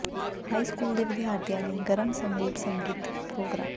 high school ਦੇ ਵਿਦਿਆਰਥੀਆਂ ਲਈ ਗਰਮ ਸਮਰੂਪ ਸੰਗੀਤ ਪ੍ਰੋਗਰਾਮ